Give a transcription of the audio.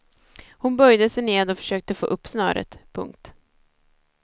Hon böjde sig ned och försökte få upp snöret. punkt